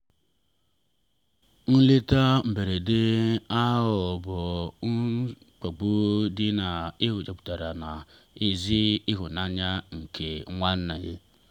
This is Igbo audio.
nleta mberede ahụ bụ mkpagbu ma o jupụtara na ezi ịhụnanya nke nwanne.